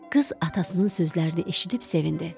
Qız atasının sözlərini eşidib sevindi.